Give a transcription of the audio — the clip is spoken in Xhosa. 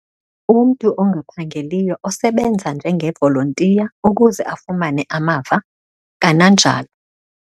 Umntu ongaphangeliyo osebenza njengevolontiya ukuze afumane amava, kananjalo